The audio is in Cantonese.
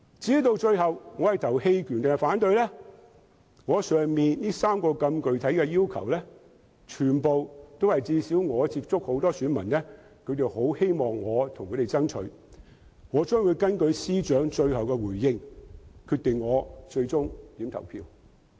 至於我最後會投棄權票還是反對票，我以上3項那麼具體的要求，均是我所接觸的選民希望我能為他們爭取的，我會根據司長最後的回應決定我最終的投票。